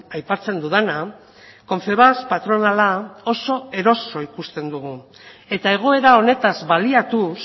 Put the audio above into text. aipatzen dudana confebask patronala oso eroso ikusten dugu eta egoera honetaz baliatuz